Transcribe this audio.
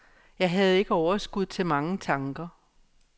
Jeg havde ikke overskud til mange tanker.